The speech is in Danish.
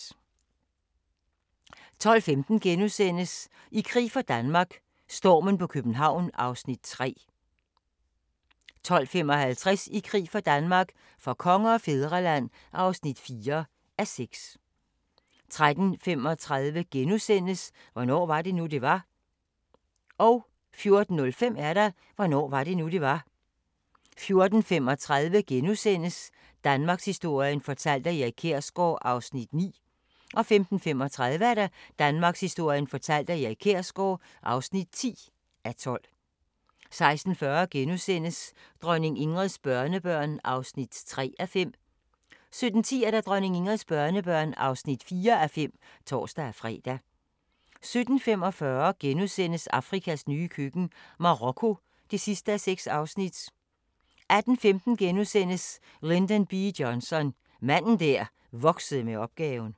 12:15: I krig for Danmark - stormen på København (3:6)* 12:55: I krig for Danmark - for konge og fædreland (4:6) 13:35: Hvornår var det nu, det var? * 14:05: Hvornår var det nu, det var? 14:35: Danmarkshistorien fortalt af Erik Kjersgaard (9:12)* 15:35: Danmarkshistorien fortalt af Erik Kjersgaard (10:12) 16:40: Dronning Ingrids børnebørn (3:5)* 17:10: Dronning Ingrids børnebørn (4:5)(tor-fre) 17:45: Afrikas nye køkken – Marokko (6:6)* 18:15: Lyndon B. Johnson – manden der voksede med opgaven *